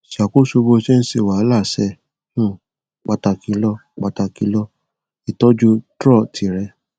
ṣàkóso bó ṣe ń ṣe wàhálà ṣe um pàtàkì lọ pàtàkì lọ ìtọjú trọ tìrẹ